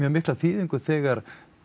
mikla þýðingu þegar